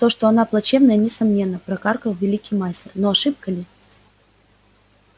то что она плачевная несомненно прокаркал великий мастер но ошибка ли